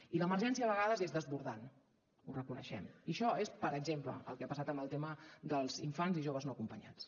i l’emergència a vegades és desbordant ho reconeixem i això és per exemple el que ha passat amb el tema dels infants i joves no acompanyats